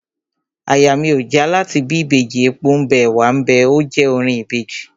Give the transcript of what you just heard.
Àyà mi ò já láti bí Ìbejì, epo ḿ bẹ, ẹ̀wá ḿ bẹ óò je orin Ìbejì..